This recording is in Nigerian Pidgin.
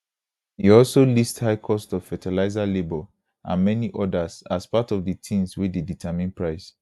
e also list high cost of fertilizer labor and many odas as part of di tins wey dey determine price